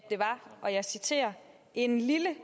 en lille